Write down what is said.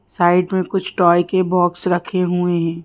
Side में कुछ toy के बॉक्स रखे हुए हैं।